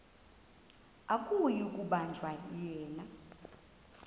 akuyi kubanjwa yena